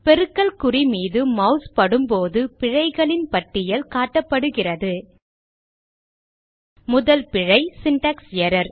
பெருக்கல் குறி மீது மாஸ் படும் போது பிழைகளின் பட்டியல் காட்டப்படுகிறது முதல் பிழை சின்டாக்ஸ் எர்ரர்